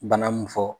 Bana mun fɔ